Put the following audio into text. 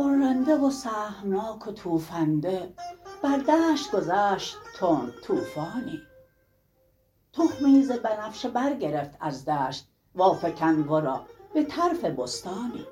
غرنده و سهمناک و توفنده بر دشت گذشت تند طوفانی تخمی زبنفشه برگرفت از دشت وافکند ورا به طرف بستانی